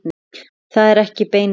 Þetta er ekki bein leið.